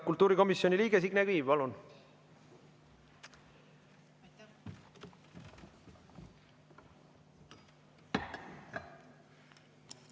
Kultuurikomisjoni liige Signe Kivi, palun!